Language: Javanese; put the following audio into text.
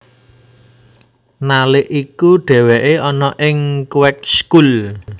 Nalik iku dheweke ana ing Kweekschool